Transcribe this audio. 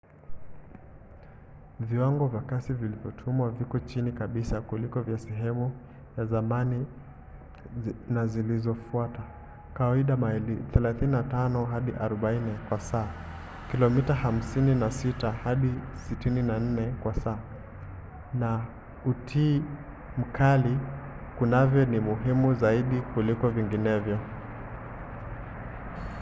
viwango vya kasi vilivyotumwa viko chini kabisa kuliko vya sehemu za zamani na zilizofuata — kawaida maili 35-40 kwa saa kilomita 56-64 kwa saa — na utii mkali kwavyo ni muhimu zaidi kuliko vinginevyo